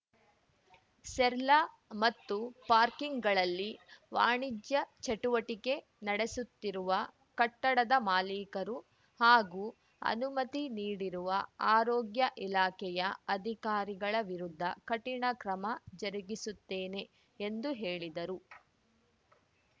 ಸೆರ್ಲ್ಲಾ ಮತ್ತು ಪಾರ್ಕಿಂಗ್‌ಗಳಲ್ಲಿ ವಾಣಿಜ್ಯ ಚಟುವಟಿಕೆ ನಡೆಸುತ್ತಿರುವ ಕಟ್ಟಡದ ಮಾಲಿಕರು ಹಾಗೂ ಅನುಮತಿ ನೀಡಿರುವ ಆರೋಗ್ಯ ಇಲಾಖೆಯ ಅಧಿಕಾರಿಗಳ ವಿರುದ್ಧ ಕಠಿಣ ಕ್ರಮ ಜರುಗಿಸುತ್ತೇನೆ ಎಂದು ಹೇಳಿದರು